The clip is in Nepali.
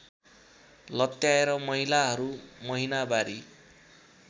लत्याएर महिलाहरू महिनावारी